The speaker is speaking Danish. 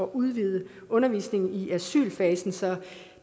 udvide undervisningen i asylfasen så